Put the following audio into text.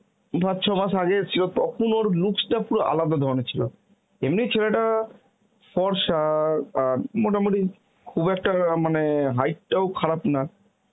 পাঁচ ছমাস এসেছিল তখন ওর looks টা পুরো আলাদা ধরনের ছিল. এমনি ছেলেটা ফর্সা অ্যাঁ মোটামুটি খুব একটা মানে height টাও খারাপ না